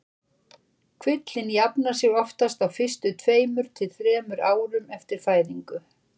Kvillinn jafnar sig oftast á fyrstu tveimur til þremur árum eftir fæðingu.